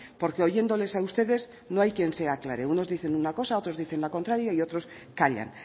porque oyéndoles a ustedes no hay quien se aclare unos dicen una cosa otros dicen la contraria y otros callan